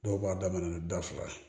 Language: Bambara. Dɔw b'a daminɛ ni da fila ye